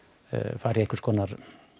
fara í einhvers konar